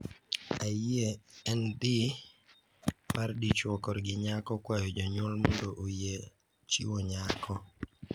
"Ayie en dhi mar dichwo korgi nyako kwayo jonyuol mondo oyie chiwo nyako.